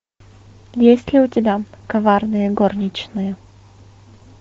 есть ли у тебя коварные горничные